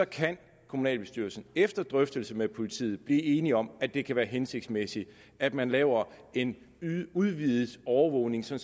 kan kommunalbestyrelsen efter drøftelse med politiet blive enige om at det kan være hensigtsmæssigt at man laver en udvidet overvågning så